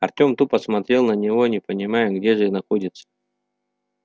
артём тупо смотрел на него не понимая где же находится